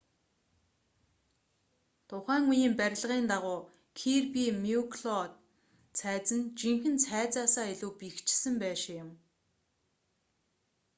тухайн үеийн барилгын дагуу кирби мюкло цайз нь жинхэнэ цайзаас илүү бэхэжсэн байшин юм